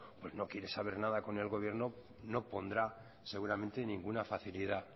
no quiere saber nada con el gobierno no pondrá seguramente ninguna facilidad